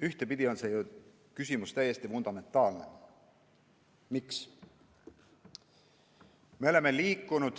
Ühtpidi on see küsimus täiesti fundamentaalne: miks me oleme liikunud